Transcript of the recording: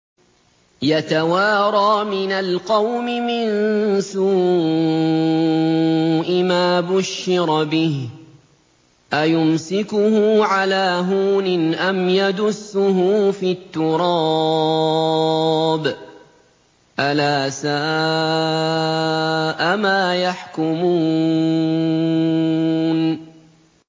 يَتَوَارَىٰ مِنَ الْقَوْمِ مِن سُوءِ مَا بُشِّرَ بِهِ ۚ أَيُمْسِكُهُ عَلَىٰ هُونٍ أَمْ يَدُسُّهُ فِي التُّرَابِ ۗ أَلَا سَاءَ مَا يَحْكُمُونَ